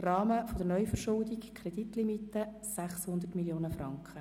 Rahmen der Neuverschuldung, Kreditlimite: 600 Mio. Franken;